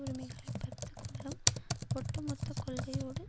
உரிமைகளை பறித்துக்கொள்ளும் ஒட்டுமொத்தக் கொள்கையோடு